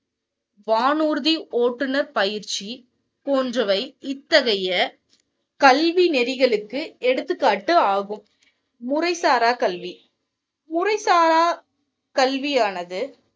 வானுர்தி ஓட்டுனர் பயிற்சி போன்றவை இத்தகைய கல்வி நெறிகளுக்கு எடுத்துக்காட்டாகும் முறைசாரா கல்வி முறை சாரா கல்வியானது.